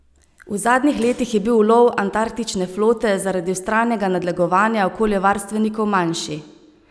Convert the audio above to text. V zadnjih letih je bil ulov antarktične flote zaradi vztrajnega nadlegovanja okoljevarstvenikov manjši.